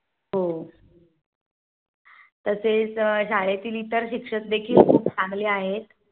हो तसेच शाळेतील इतर शिक्षक देखील चांगले आहे.